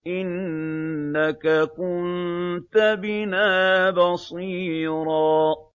إِنَّكَ كُنتَ بِنَا بَصِيرًا